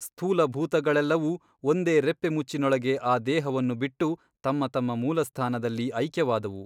ಸ್ಥೂಲ ಭೂತಗಳೆಲ್ಲವೂ ಒಂದೇ ರೆಪ್ಪೆಮುಚ್ಚಿನೊಳಗೆ ಆ ದೇಹವನ್ನು ಬಿಟ್ಟು ತಮ್ಮ ತಮ್ಮ ಮೂಲಸ್ಥಾನದಲ್ಲಿ ಐಕ್ಯವಾದುವು.